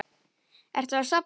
Ertu að safna?